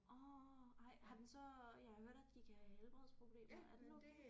Orh ej har den så jeg har hørt at de kan have helbredsproblemer er den okay